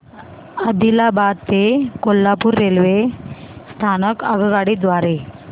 आदिलाबाद ते कोल्हापूर रेल्वे स्थानक आगगाडी द्वारे